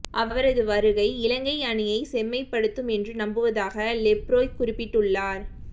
அவரது வருகை இலங்கை அணியை செம்மைப்படுத்தும் என்று நம்புவதாக லெப்ரோய் குறிப்பிட்டுள்ளார்